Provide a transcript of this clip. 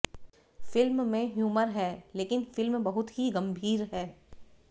film में humour है लेकिन फिल्म बहुत ही गंभीर है